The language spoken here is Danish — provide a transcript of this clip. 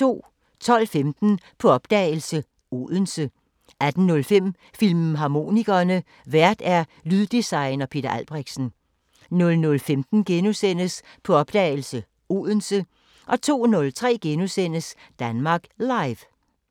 12:15: På opdagelse – Odense 18:05: Filmharmonikerne: Vært lyddesigner Peter Albrechtsen 00:15: På opdagelse – Odense * 02:03: Danmark Live *